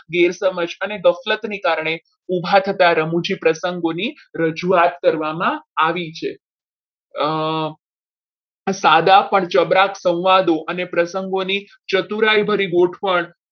ઘેર સમાજ અને ગફલતને કારણે ઉભા થતા રમુજી પ્રસંગોની રજૂઆત કરવામાં આવી છે સાદા પર જબરા સંવાદો અને પ્રસંગોની ચતુરાઈ ભરી ગોઠવણ